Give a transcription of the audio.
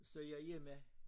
Så jeg hjemme